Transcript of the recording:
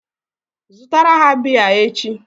Zụtara ha bịa echi!